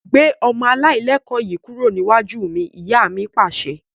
Gbé ọmọ alailẹkọ̀ yìí kúrò níwájú mi! Ìyá mi Pàṣẹ.